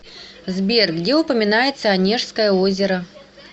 сбер где упоминается онежское озеро